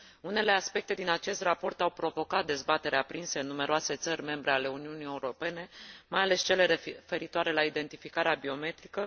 Unele aspecte din acest raport au provocat dezbateri aprinse în numeroase țări membre ale Uniunii Europene, mai ales cele referitoare la identificarea biometrică.